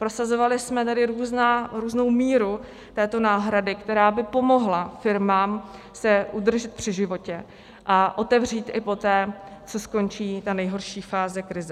Prosazovali jsme tady různou míru této náhrady, která by pomohla firmám se udržet při životě a otevřít i poté, co skončí ta nejhorší fáze krize.